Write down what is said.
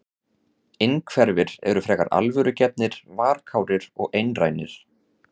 Innhverfir eru frekar alvörugefnir, varkárir og einrænir.